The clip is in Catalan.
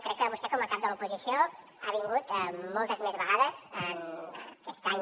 crec que vostè com a cap de l’oposició ha vingut moltes més vegades aquest any